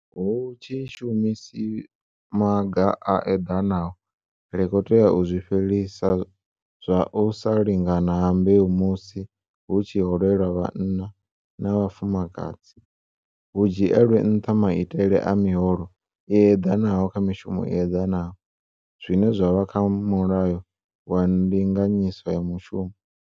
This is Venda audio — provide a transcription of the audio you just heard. Hu tshi shumiswa maga a eḓanaho, ri tea u fhelisa zwa u sa lingana ha mbeu musi hu tshi holelwa vhanna na vhafumakadzi, hu dzhielwe nṱha maitele a miholo i eḓanaho kha mishumo i eḓanaho zwine zwa vha kha Mulayo wa Ndinganyiso ya Mushumo.